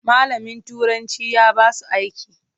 Malamin turanci ya basu aiki.